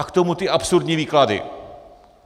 A k tomu ty absurdní výklady.